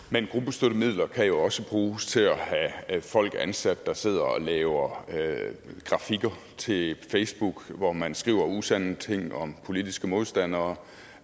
men gruppestøttemidler kan jo også bruges til at have folk ansat der sidder og laver grafikker til facebook hvor man skriver usande ting om politiske modstandere